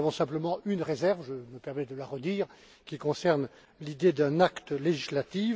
Nous avons simplement une réserve, je me permets de la rappeler, qui concerne l'idée d'un acte législatif.